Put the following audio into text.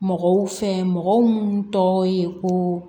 Mɔgɔw fɛ mɔgɔ munnu tɔgɔ ye ko